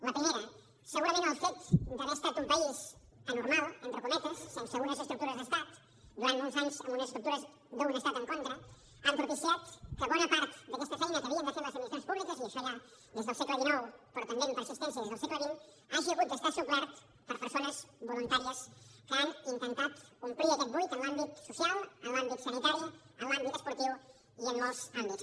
la primera segurament el fet d’haver estat un país anormal entre cometes sense unes estructures d’estat durant molts anys amb unes estructures d’un estat en contra ha propiciat que bona part d’aquesta feina que havien de fer les administracions públiques i això ja des del segle xix però també amb persistència des del segle xx hagi hagut d’estar suplerta per persones voluntàries que han intentat omplir aquest buit en l’àmbit social en l’àmbit sanitari en l’àmbit esportiu i en molts àmbits